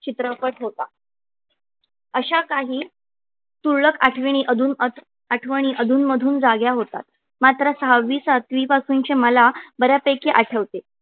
चित्रपट होता. अशा काही तुरळक आठवणी अधू आठवणी अधूनमधून जाग्या होतात. मात्र सहावी सातवी पासूनचे मला बऱ्यापैकी आठवते.